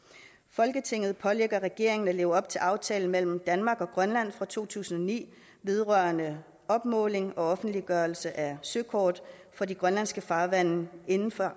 folketinget pålægger regeringen at leve op til aftalen mellem danmark og grønland fra to tusind og ni vedrørende opmåling og offentliggørelse af søkort for de grønlandske farvande inden for